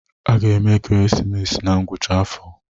A ga-eme ekeresimesi na ngwụcha afọ